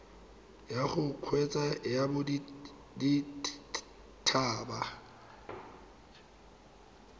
ya go kgweetsa ya bodithaba